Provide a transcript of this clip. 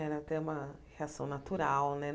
Era até uma reação natural, né?